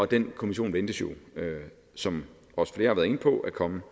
den kommission ventes jo som også flere har været inde på at komme